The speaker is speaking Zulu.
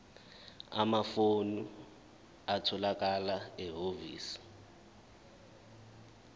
amafomu atholakala ehhovisi